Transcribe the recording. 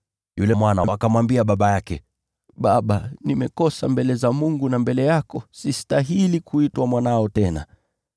“Yule mwana akamwambia baba yake, ‘Baba, nimekosa mbele za Mungu na mbele yako. Sistahili kuitwa mwanao tena.’